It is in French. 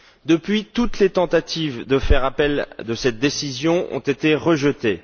Depuis, toutes les tentatives de faire appel de cette décision ont été rejetées.